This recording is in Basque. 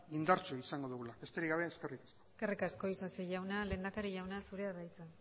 indartsua izango dugula besterik gabe eskerrik asko eskerrik asko isasi jauna lehendakari jauna zurea da hitza